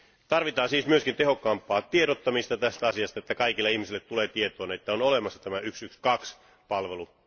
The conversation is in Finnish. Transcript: Tarvitaan siis myös tehokkaampaa tiedottamista tästä asiasta, että kaikille ihmisille tulee tietoon, että on olemassa tämä 112 palvelu.